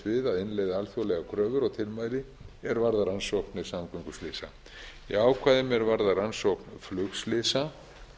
við að innleiða alþjóðlegar kröfur og tilmæli er varða rannsóknir samgönguslysa í ákvæðum er varða rannsókn flugslysa